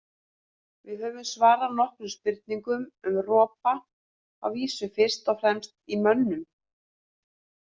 Við höfum svarað nokkrum spurningum um ropa, að vísu fyrst og fremst í mönnum.